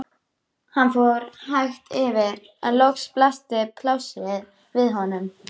Hann fór hægt yfir en loks blasti plássið við honum.